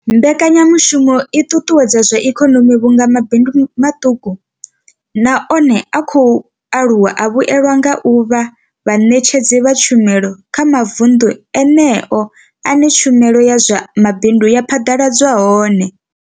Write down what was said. Mbekanyamushumo i ṱuṱuwedza zwa ikonomi vhunga mabindu maṱuku na one a khou aluwa a vhuelwa nga u vha vhaṋetshedzi vha tshumelo kha mavunḓu eneyo ane tshumelo ya zwa mabindu ya phaḓaladzwa hone.